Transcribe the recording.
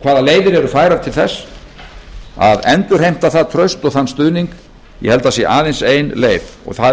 hvaða leiðir eru færar til þess að endurheimta það traust og þann stuðning ég held að það sé aðeins ein leið og það